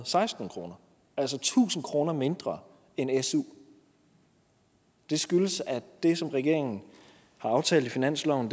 seksten kroner altså tusind kroner mindre end i su det skyldes at det som regeringen har aftalt i finansloven